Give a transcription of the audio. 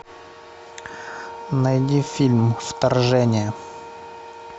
найди фильм вторжение